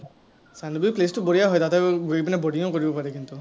Chandubi place টো বঢ়িয়া হয়, তাতে ঘুৰি পিনে boating ও কৰিব পাৰি কিন্তু।